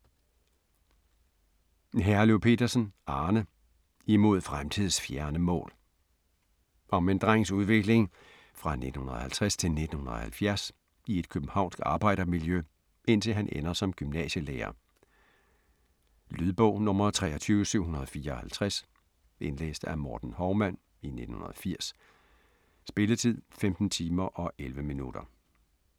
Herløv Petersen, Arne: Imod fremtids fjerne mål Om en drengs udvikling fra 1950 til 1970 i et københavnsk arbejdermiljø, indtil han ender som gymnasielærer. Lydbog 23754 Indlæst af Morten Hovman, 1980. Spilletid: 15 timer, 11 minutter.